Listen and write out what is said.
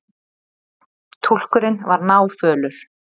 Túlkurinn var náfölur.